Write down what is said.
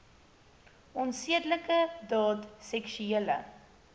onsedelike daad seksuele